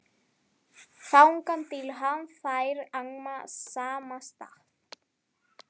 Þangað til hann fær annan samastað